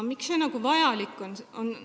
Miks see vajalik on?